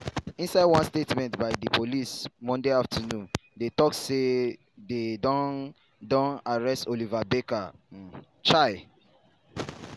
inside one statement by di police monday afternoon dey tok say dey don don arrest oliver barker-vormawor. um